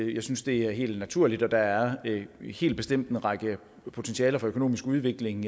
jeg synes det er helt naturligt og der er helt bestemt en række potentialer for økonomisk udvikling